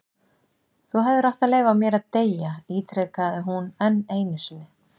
Þú hefðir átt að leyfa mér að deyja- ítrekaði hún enn einu sinni.